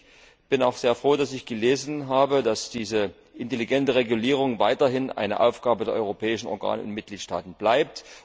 Ich bin auch sehr froh, dass ich gelesen habe, dass diese intelligente Regulierung weiterhin eine Aufgabe der europäischen Organe in den Mitgliedstaaten bleibt.